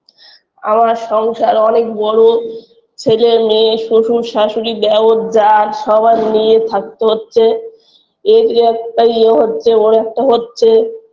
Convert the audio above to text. আমার সংসার অনেক বড় ছেলে মেয়ে শ্বশুর শ্বাশুড়ী দেওর জা সবার নিয়ে থাকতে হচ্ছে এর একটা ইয়ে হচ্ছে ওর একটা হচ্ছে